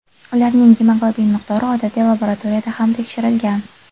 Ularning gemoglobin miqdori odatiy laboratoriyada ham tekshirilgan.